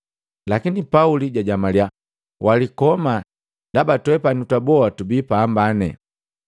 Lakini Pauli jajamaliya, “Walikoma ndaba twepani twaboa tubi pambane.”